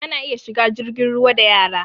Ana iya shiga jirgin ruwa da yara